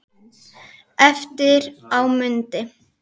Eftir á mundi